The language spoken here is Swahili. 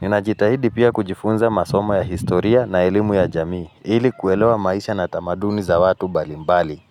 Ninajitahidi pia kujifunza masomo ya historia na ilimu ya jamii. Ili kuelewa maisha na tamaduni za watu mbalimbali.